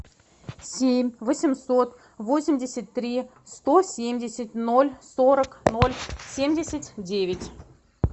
семь восемьсот восемьдесят три сто семьдесят ноль сорок ноль семьдесят девять